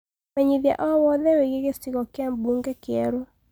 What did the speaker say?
menyithiaũhoro o wothe wigie gicigo kia bũnge kieru